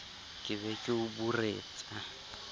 ke be ke o buretsa